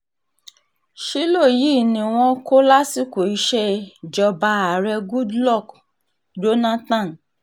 ṣílò yìí ni wọ́n kọ́ lásìkò ìṣèjọba ààrẹ goodluck jonathan